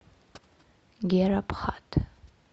гера пхат